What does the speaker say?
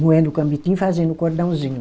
moendo o cambitinho, fazendo o cordãozinho.